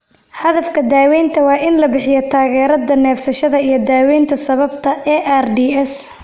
Hadafka daawaynta waa in la bixiyo taageerada neefsashada iyo daawaynta sababta ARDS.